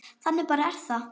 Þannig bara er það.